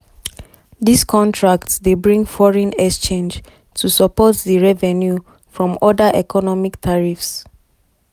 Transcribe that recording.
dis contracts dey bring foreign exchange to support di revenue from oda economic tariffs.